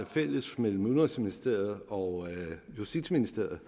fælles mellem udenrigsministeriet og justitsministeriet